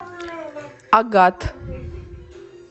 агат